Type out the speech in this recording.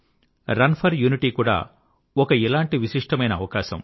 run for unity కూడా ఒక ఇలాంటి విశిష్టమైన అవకాశం